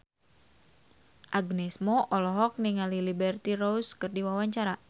Agnes Mo olohok ningali Liberty Ross keur diwawancara